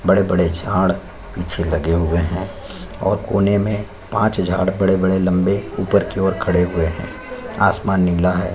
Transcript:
बड़े-बड़े झाड़ पीछे लगे हुए है और कोने में पांच झाड़ बड़े-बड़े लम्बे ऊपर की ओर खड़े हुए है आसमान नीला है।